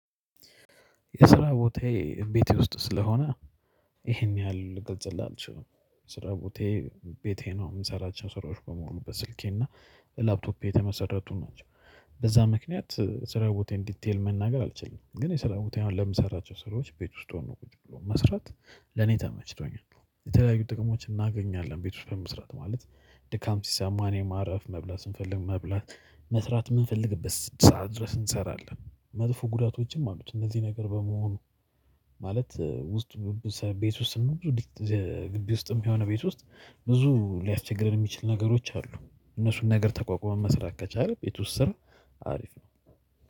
የስራ ቦታዬ ቤቴ ውስጥ ስለሆነ ይሄን ያህል ልገልፅልህ አልችልም። ስራ ቦታዬ ቤቴ ነው የምንሰራቸው ስራዎች በሙሉ በስልኬ እና ላፕቶፔ የተመሰረቱን ናቸው። በዛ ምክንያት ስራ ቦታዬን ዲቴል መናገር አልችልም። ግን የሰላም ቦታዬ አሁን ለምሰራቸው ስራዎች ቤት ውስጥ ሆኖ ቁጭ ብሎ መስራት ለኔ ተመችቶኛል። የተለያዩ ጥቅሞችን እናገኛለን ቤት ውስጥ በመስራት ማለት ድካም ሲሳማ እኔ ማረፍ መብላት ስንፈልግ መብላት መስራት የምንፈልግበት ስድስት ሰዓት ድረስ እንሰራለን። መጥፎ ጉዳቶችም አሉት። እነዚህ ነገር በመሆኑ ማለት ውስጥ ቤት ውስጥ ነው። ብዙ ግቢ ውስጥም የሆነ ቤት ውስጥ ብዙ ሊያስቸግር የሚችል ነገሮች አሉ። እነሱን ነገር ተቋቁመን መስራት ከቻለነን ቤት ውስጥም አሪፍ ነው